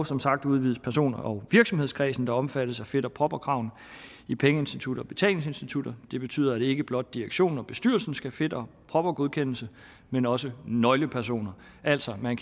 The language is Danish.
som sagt udvides person og virksomhedskredsen der omfattes af fit og proper kravene i pengeinstitutter og betalingsinstitutter det betyder at ikke blot direktionen og bestyrelsen skal fit og proper godkendes men også nøglepersoner altså kan